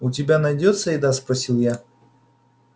у тебя найдётся еда спросил я